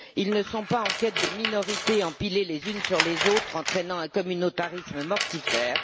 Ils ne sont pas en quête de minorités empilées les unes sur les autres, entraînant un communautarisme mortifère.